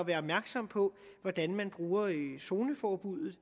være opmærksomme på hvordan man bruger zoneforbuddet